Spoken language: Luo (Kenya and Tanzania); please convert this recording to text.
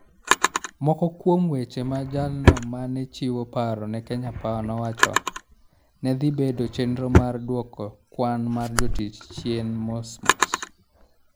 Moko kuom weche ma jalno ma ne chiwo paro ne Kenya Power nowacho, ne dhi bedo chenro mar dwoko kwan mar jotich chien mos mos.